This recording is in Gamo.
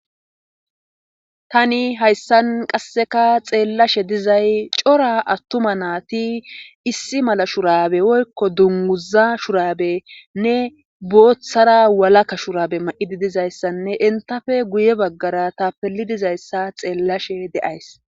Tani hayssan qasseka xeellashe dizay cora attuma naati issi mala shurabe oykko dunguza shurabenne booththara walaka shurabe ma7idi dizayssanne intafe guye baggara ta pelidizayssa xeellashe de7ays.